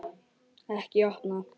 Ekki opna